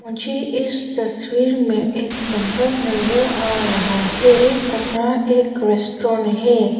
मुझे इस तस्वीर में एक कमरा नजर आ रहा है ये कमरा एक रेस्टोरेंट है।